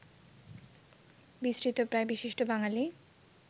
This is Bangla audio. বিস্মৃতপ্রায় বিশিষ্ট বাঙালি